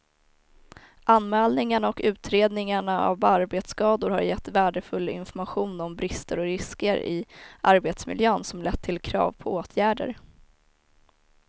Anmälningarna och utredningarna av arbetsskador har gett värdefull information om brister och risker i arbetsmiljön som lett till krav på åtgärder.